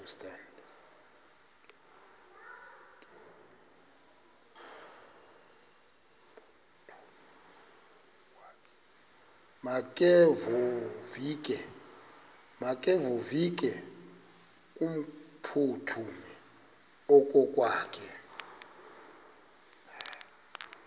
makevovike kumphuthumi okokwakhe